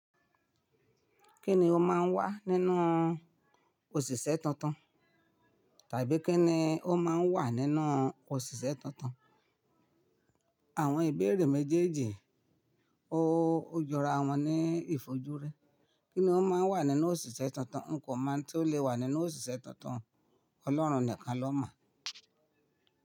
Kí ni ó máa ń wà nínú òṣìṣẹ́ tuntun? Tàbí kí ni ó máa ń wà nínú òṣìṣẹ́ tuntun? Àwọn ìbéèrè méjèèjì oojọra wọn ní ìfojúrí. Kí ni ó máa ń wà nínú òṣìṣẹ́ tuntun? Nǹkan tí ó lè wà nínú òṣìṣẹ́ tuntun Ọlọ́run nìkan ló mọ̀